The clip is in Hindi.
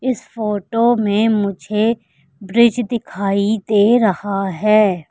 इस फोटो में मुझे ब्रिज दिखाई दे रहा है।